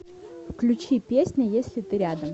включи песня если ты рядом